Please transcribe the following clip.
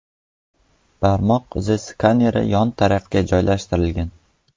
Barmoq izi skaneri yon tarafga joylashtirilgan.